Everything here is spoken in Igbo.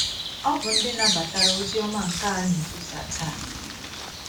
Ọ bụ ndị nabatara ozi ọma nke a na - ekwusa taa.